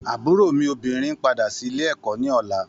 Àbúrò mi obìnrin ńpadà sí ilé ẹ̀kọ́ ní ọ̀la.